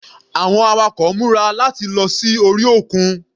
Àwọn awakọ̀ múra láti lọ sí orí òkun.